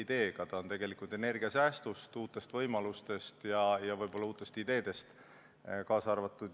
See kõneleb energiasäästust, uutest võimalustest ja võib-olla uutest ideedest.